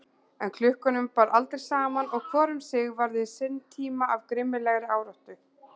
En klukkunum bar aldrei saman og hvor um sig varði sinn tíma af grimmilegri áráttu.